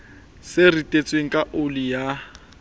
se ritetsweng ka oli ya